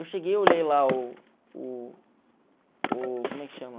Eu cheguei, eu olhei lá o o o, como é que chama?